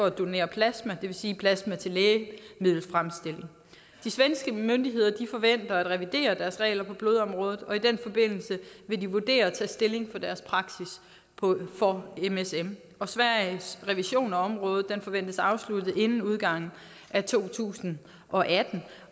at donere plasma det vil sige plasma til lægemiddelfremstilling det svenske myndigheder forventer at revidere deres regler på blodområdet og i den forbindelse vil de vurdere og tage stilling til deres praksis for msm sveriges revision på området forventes afsluttet inden udgangen af to tusind og atten